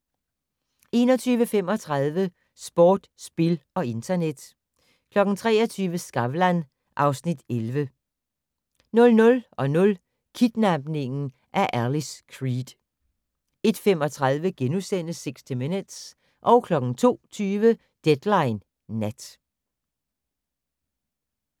21:35: Sport, spil og internet 23:00: Skavlan (Afs. 11) 00:00: Kidnapningen af Alice Creed 01:35: 60 Minutes * 02:20: Deadline Nat